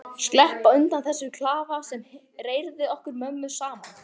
Sleppa undan þessum klafa sem reyrði okkur mömmu saman.